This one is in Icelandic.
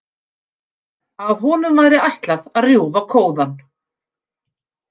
Að honum væri ætlað að rjúfa kóðann.